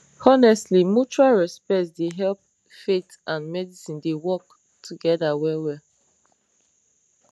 honestly mutual respect dey help faith and medicine dey work together well well